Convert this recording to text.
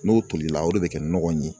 N'o tolila o de bɛ kɛ nɔgɔ in ye